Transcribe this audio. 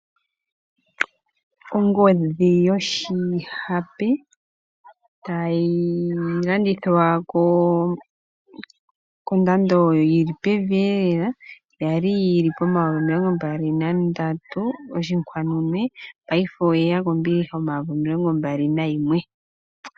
Ongodhi yoshi hape tayi landithwa kondando yili pevi iye lela, yali yili komayovi 23,499 payife oyeya kombiliha omayovi 21,999.